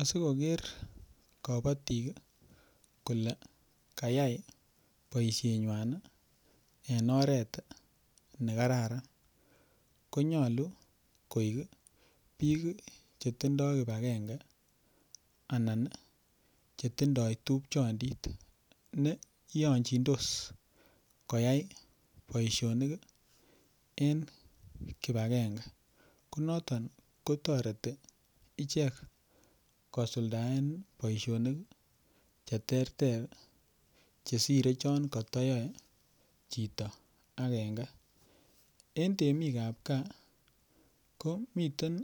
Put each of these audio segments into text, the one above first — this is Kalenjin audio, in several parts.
Asikoker kobotik kole kayai boisienywan ii en oret nekararan konyolu koik biik chetindoo kipakenge anan ii chetindoo tupchondit neiyonjindos koyai boisionik en kipakenge konoton kotoreti ichek kosuldaen boisionik cheterter chesire chon kotoyoe chito akenge en temikab gaa koo miten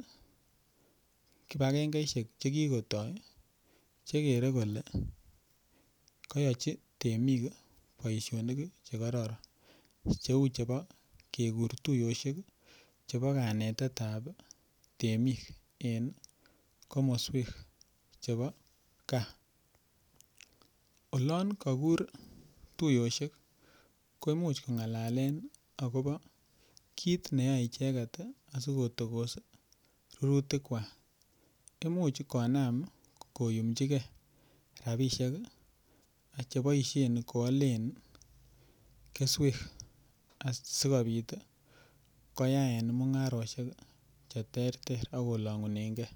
kipakengeisiek chekikotoo chekere kole koyochi temik boisionik ii chekororon cheu chebo kekuru tuiyosiek chebo kanetetab temik en komoswek chebo gaa, olon kokur tuyosiek koimuch kong'alalen akobo kit neyoe icheket asikotokos rurutikwak imuch konam koyumchikee rapisiek cheboisien koalen keswek asikobit ii koyaen mung'arosiek cheterter akolong'unen gee.